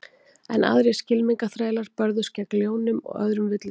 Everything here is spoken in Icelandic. Enn aðrir skylmingaþrælar börðust gegn ljónum og öðrum villidýrum.